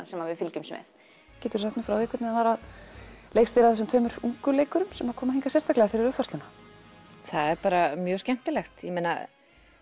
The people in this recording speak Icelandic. sem við fylgjumst með geturðu sagt okkur hvernig það var að leikstýra þessum tveimur ungu leikurum sem komu hingað sérstaklega fyrir uppfærsluna það er bara mjög skemmtilegt ég meina